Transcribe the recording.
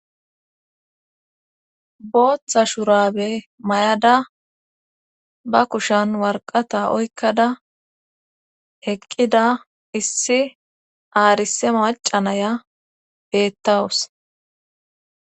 booththa shurabe mayada ba kushan warqata oykkada heqqida issi aarise macanaya beettawus